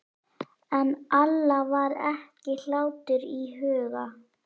En Alla var ekki hlátur í huga.